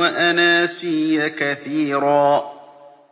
وَأَنَاسِيَّ كَثِيرًا